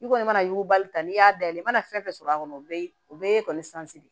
I kɔni mana yugubali n'i y'a dayɛlɛ i mana fɛn fɛn sɔrɔ a kɔnɔ o bɛ o bɛɛ kɔni sansi de